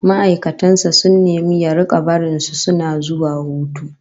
Ma'aikatan sa sun nemi ya rika barin su suna zuwa hutu